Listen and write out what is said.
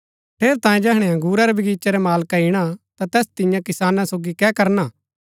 ठेरैतांये जैहणै अंगुरा रै बगीचे रा मालका ईणा ता तैस तियां किसाना सोगी कै करणा